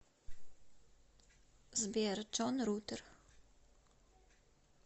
сбер джон рутер